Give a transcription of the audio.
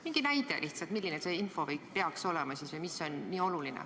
Mingi näide lihtsalt, milline see info peaks olema või mis on nii oluline.